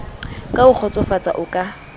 ka ho kgotsofatsa o ka